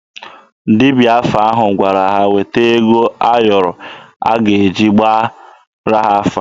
Dibịa afa ahụ gwara ha weta ego ayọrọ a ga-eji gbaara ha afa